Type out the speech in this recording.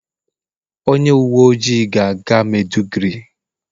onye uwe ojii ga-aga maiduguri.